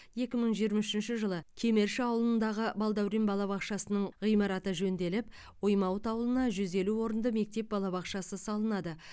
екі мың жиырма үшінші жылы кемерши ауылындағы балдаурен балабақшасының ғимаратын жөнделіп оймауыт ауылына жүз елу орынды мектеп балабақшасы салынады